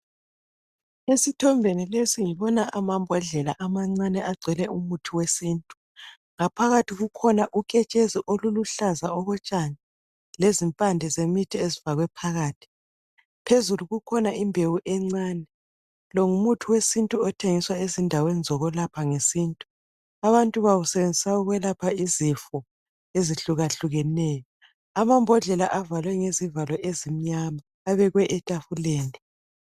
esithombeni lesi ngobana amambodlela amancane agcwele umuthi wesintu ngaphakathi kukhona uketshezi oluluhlaza okotshani lezimpande zemiti ezifakwe phakathi phezulu kukhona imbewu encane lo ngumuthi wesintu othengiswa ezindaweni zokulapha ngesintu abantu bawusebenzisa ukulapha izifo ezihlukehlukeneyo amambodlela valwe ngezivalo ezimnyama abekwe etafuleni